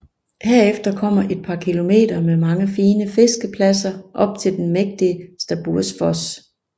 Herefter kommer et par kilometer med mange fine fiskepladser op til den mægtige Stabbursfos